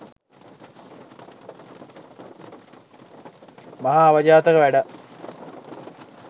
මහා අවජාතක වැඩක්.